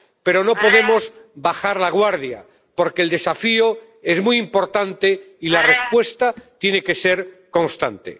Pero no podemos bajar la guardia, porque el desafío es muy importante y la respuesta tiene que ser constante.